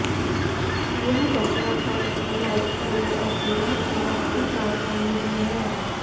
यह बसरा प्रान्त की राजधानी और इराक की आर्थिक राजधानी भी है